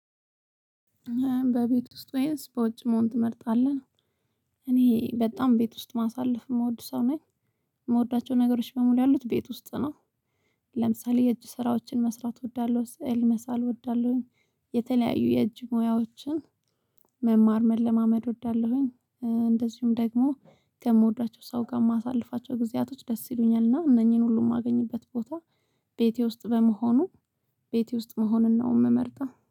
በቤት ውስጥ ወይስ በውጭ መሆን ትመርጣለህ? እኔ በጣም ቤት ውስጥ ማሳለፍ የምወድ ሰው ነኝ የምወዳቸው ነገሮች በሙሉ ያሉት ቤት ውስጥ ነው፤ ለምሳሌ የእጅ ስራዎችን መስራት እወዳለሁ፣ ስዕል መሳል እወዳለሁኝ የተለያዩ የእጅ ሙያዎችን መማር መለማመድ እወዳለሁኝ እንደዚሁም ደግሞ ከምወዷቸው ሰው ጋር የማሳልፋቸው ጊዜያቶች ደስ ይሉኛል እና እነኚህን ሁሉ ማገኝበት ቦታ ቤቴ ውስጥ በመሆኑ ቤቴ ውስጥ መሆንን ነው የምመርጠው።